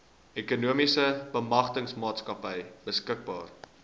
ekonomiese bemagtigingsmaatskappy beskikbaar